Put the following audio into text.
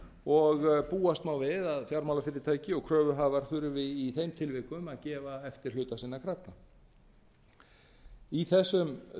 og búast má við að fjármálafyrirtæki og kröfuhafar þurfi í þeim tilvikum að gefa eftir hluta sinna krafna í þessum